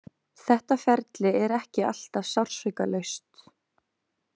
Þetta ferli er ekki alltaf sársaukalaust.